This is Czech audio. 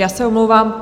Já se omlouvám.